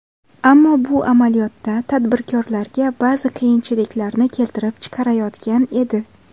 Ammo bu amaliyotda tadbirkorlarga ba’zi qiyinchiliklarni keltirib chiqarayotgan edi.